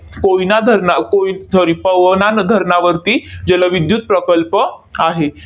कोयना धरणा कोय sorry पवना न धरणावरती जलविद्युत प्रकल्प आहे.